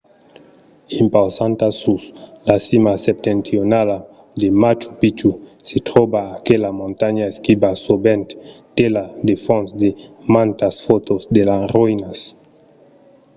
impausanta sus la cima septentrionala de machu picchu se tròba aquela montanha esquiva sovent tela de fons de mantas fòtos de las roïnas